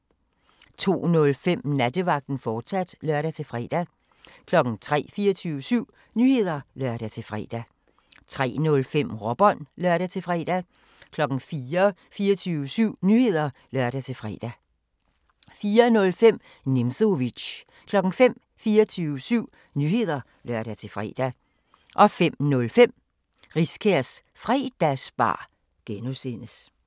02:05: Nattevagten, fortsat (lør-fre) 03:00: 24syv Nyheder (lør-fre) 03:05: Råbånd (lør-fre) 04:00: 24syv Nyheder (lør-fre) 04:05: Nimzowitsch 05:00: 24syv Nyheder (lør-fre) 05:05: Riskærs Fredagsbar (G)